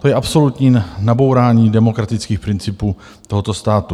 To je absolutní nabourání demokratických principů tohoto státu.